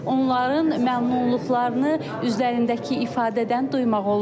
Onların məmnunluqlarını üzlərindəki ifadədən duymaq olur.